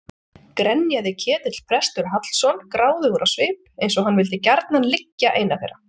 grenjaði Ketill prestur Hallsson gráðugur á svip eins og hann vildi gjarnan liggja eina þeirra.